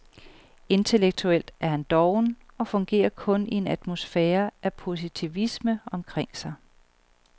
Intellektuelt er han doven og fungerer kun i en atmosfære af positivisme omkring sig.